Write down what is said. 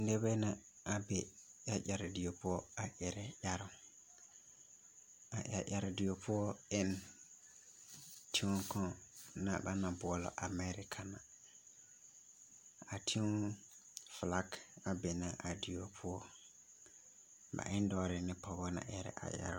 Nibɛ la be ɛreɛre die poɔ ɛrɛ ɛroŋ a ɛreɛre die poɔ e na teŋa kaŋ ba naŋ boɔlɔ Amɛɛreka ,a teŋa filag be na a die poɔ, ba e na dɔɔrɛɛ ne pɔgebɛ na ɛrɛ a ɛroŋ.